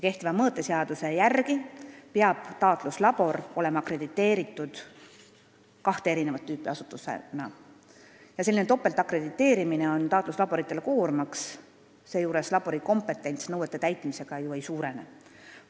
Selline topeltakrediteerimine on taatluslaboritele koormaks ja labori kompetents nõuete täitmisega ju ei suurene.